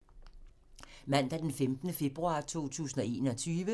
Mandag d. 15. februar 2021